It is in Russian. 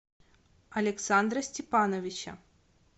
александра степановича